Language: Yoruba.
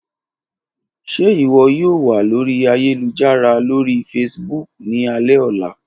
Ṣe iwọ yoo wa lori ayelujara lori Facebook ni alẹ ọla?